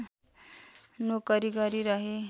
नोकरी गरी रहेँ